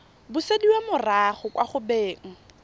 busediwa morago kwa go beng